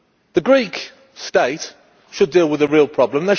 The Greek state should deal with the real problem.